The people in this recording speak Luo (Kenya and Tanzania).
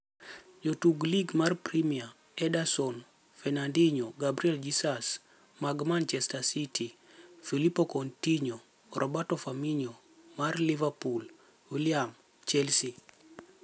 Wachezaji Ligi ya Premia: Ederson, Fernandinho, Gabriel Jesus (wote wa Manchester City), Philippe Coutinho, Roberto Firmino (wa Liverpool), Willian (Chelsea).